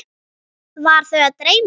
Var þau að dreyma?